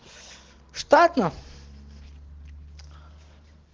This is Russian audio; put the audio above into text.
штатно